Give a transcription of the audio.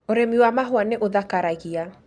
Ũrĩmi wa mahũa nĩ ũthakaragia